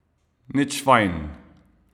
Nič fajn.